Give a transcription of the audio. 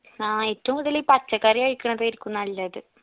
ആ ഏറ്റവും കൂടുതല് ഈ പച്ചക്കറി കഴിക്ക് ണതായിരിക്കും നല്ലത്